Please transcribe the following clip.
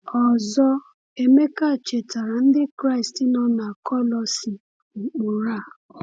Ọzọ Emeka chetaara Ndị Kraịst nọ na Kolosae ụkpụrụ a.